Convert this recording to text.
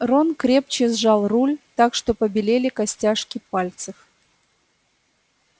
рон крепче сжал руль так что побелели костяшки пальцев